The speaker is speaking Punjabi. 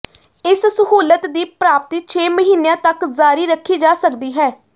ਇਸ ਸਹੂਲਤ ਦੀ ਪ੍ਰਾਪਤੀ ਛੇ ਮਹੀਨਿਆਂ ਤਕ ਜਾਰੀ ਰੱਖੀ ਜਾ ਸਕਦੀ ਹੈ